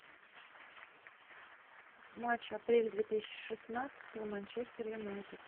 матч апрель две тысячи шестнадцатого манчестер юнайтед